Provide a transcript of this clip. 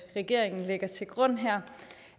regeringen lægger til grund her